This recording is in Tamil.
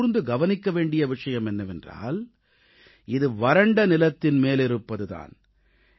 இதில் கூர்ந்து கவனிக்க வேண்டிய விஷயம் என்னவென்றால் இது வறண்ட நிலத்தின் மேலிருப்பது தான்